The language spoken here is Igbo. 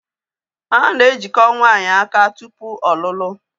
A na-ejiko nwaanyị aka tụpụ ọlụlụ